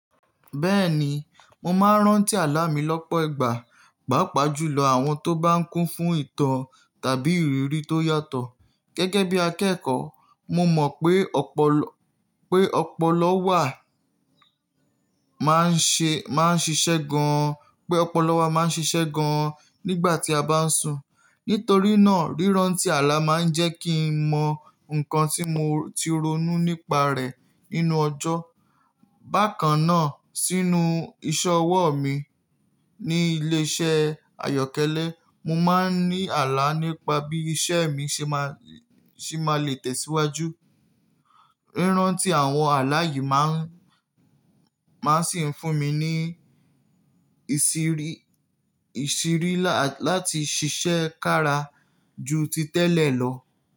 Bẹ́ẹ̀ni, mo máa ń rántí àlá mi lọ́pọ̀ ìgbà, pàápàá jùlọ àwọn tó bá ń kún fún ìtàn tàbí ìrírí tó yàtọ̀. Gẹ́gẹ́ bí akẹ́kọ̀ọ́, mo mọ̀ pé ọpọlọ wà máa ń ṣiṣẹ́ gan-an, pé ọpọlọ wa máa ń ṣiṣẹ́ gan-an nígbà tí a bá ń sùn. Nítorí náà, ríráǹtí àlá máa ń jẹ́ kí n mọ nǹkan tí mo ti ronú nípa rẹ̀ nínú ọjọ́. Bákan náà, sínú ìṣe'wọ́ mi ní ilé-iṣẹ́ àyọ́kẹ́lẹ́, mo máa ń ní àlá nípa bí iṣẹ́ mi ṣe máa lè tẹ̀síwájú. Ríráǹtí àwọn àlá yìí máa sì ń fún mi ní ìṣírí láti ṣiṣẹ́ kára ju ti tẹ́lẹ̀ lọ.